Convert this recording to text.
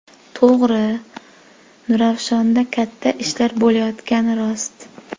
To‘g‘ri, Nurafshonda katta ishlar bo‘layotgani rost.